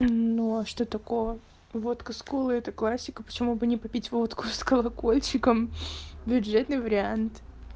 ну а что такого водка с колой это классика почему бы не попить водку с колокольчиком бюджетный вариант